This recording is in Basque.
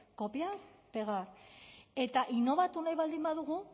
copiar pegar eta innobatu nahi baldin